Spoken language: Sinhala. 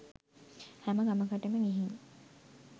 හැම ගමකටම ගිහින්